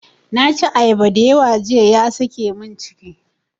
Na ci ayaba dayawa jiya ya sake mun ciki.